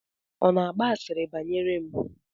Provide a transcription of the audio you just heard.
Ọ na-agba asịrị banyere m?